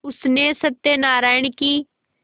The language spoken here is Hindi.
उसने सत्यनाराण की